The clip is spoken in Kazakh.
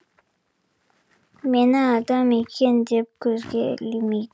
мені адам екен деп көзге ілмейді